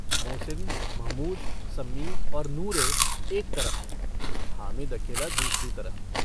मोहसिन महमूद सम्मी और नूरे एक तरफ हैं हामिद अकेला दूसरी तरफ।